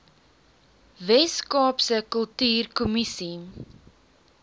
wes kaapse kultuurkommissie